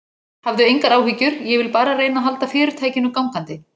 Hafðu engar áhyggjur, ég vil bara reyna að halda fyrirtækinu gangandi.